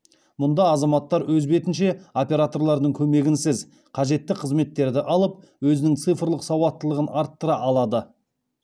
мұнда азаматтар өз бетінше операторлардың көмегінсіз қажетті қызметтерді алып өзінің цифрлық сауаттылығын арттыра алады